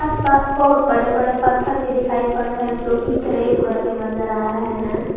पास बहोत बड़े बड़े पत्थर भी दिखाई पड़ रहा है जो की ग्रे कलर के नजर आ रहे हैं।